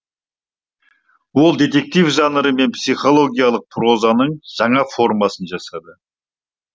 ол детектив жанры мен психологиялық прозаның жаңа формасын жасады